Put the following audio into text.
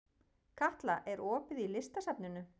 Katla, er opið í Listasafninu?